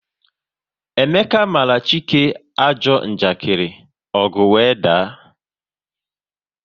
Emeka mara Chike ajọ njakiri, ọgu wee daa